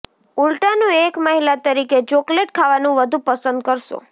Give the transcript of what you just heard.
ઉલ્ટાનું એક મહિલા તરીકે ચોકલેટ ખાવાનું વધુ પસંદ કરશો